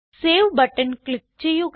save button click ചെയ്യുക